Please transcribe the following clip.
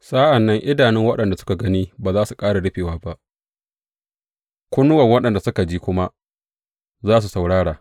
Sa’an nan idanun waɗanda suka gani ba za su ƙara rufewa ba, kunnuwan waɗanda suka ji kuma za su saurara.